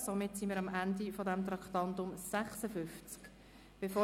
Somit sind wir am Ende des Traktandums 56 angelangt.